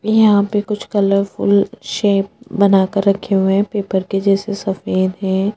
यहाँ पे कुछ कलरफूल सेप बना कर रखे हुए है पेपर के जैसे सफ़ेद है।